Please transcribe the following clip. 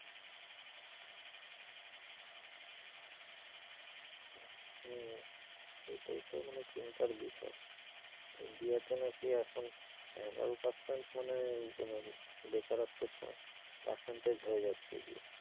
ও এইটাই তো মানে চিন্তার বিষয় ইন্ডিয়াতে নাকি এখন এগারো পার্সেন্ট মানে বেকারত্বের সংখ্যা percentage হয়ে যাচ্ছে।